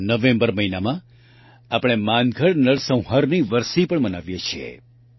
નવેંબર મહિનામાં આપણે માનગઢ નરસંહારની વરસી પણ મનાવીએ છીએ